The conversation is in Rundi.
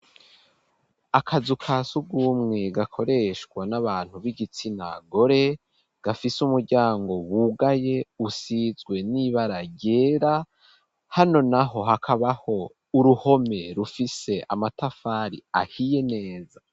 Akazu ka surwumwe, gakoreshwa n'abantu b'igitsina gore, gafise umuryango wugaye, usizwe n'ibara ryera; hano naho, hakabaho uruhome, rufise amatafari ahiye neza.